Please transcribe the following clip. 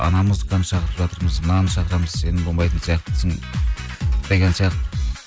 ана музыкантты шақырып жатырмыз мынаны шақырамыз сен болмайтын сияқтысың деген сияқты